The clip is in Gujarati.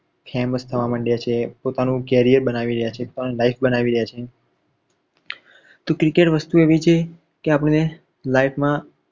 famous થવા માંડ્યા છે પોતાનુ career બનાવી રહ્યા છે life બનાવી રહ્યા છે તો cricket વસ્તુ આવી છે કે આપણને life માં